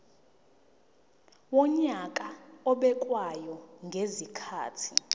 wonyaka obekwayo ngezikhathi